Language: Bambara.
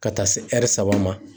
Ka taa se saba ma